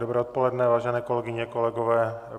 Dobré odpoledne, vážené kolegyně, kolegové.